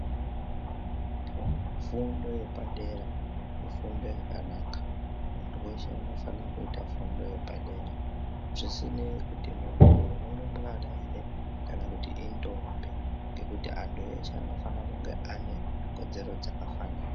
Fundo ye padera ifundo yakanaka muntu weshe anofana kuita fundo ye padera zvisinei kuti muntu uyu mu rumbwana ere kana kuti indombi ngekuti antu eshe anofana kunge ane kodzero dzaka fanana.